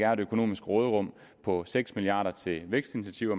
er et økonomisk råderum på seks milliard kroner til vækstinitiativer